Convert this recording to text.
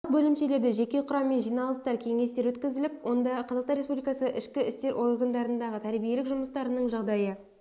барлық бөлімшелерде жеке құраммен жиналыстар кеңестер өткізіліп онда қазақстан республикасы ішкі істер органдарындағы тәрбиелік жұмыстарының жағдайы